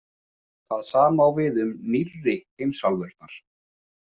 Það sama á við um „nýrri“ heimsálfurnar.